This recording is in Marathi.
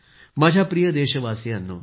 माझ्या प्रिय देशवासियांनो